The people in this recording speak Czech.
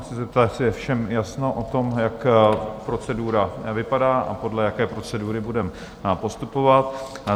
Chci se zeptat, jestli je všem jasno o tom, jak procedura vypadá a podle jaké procedury budeme postupovat?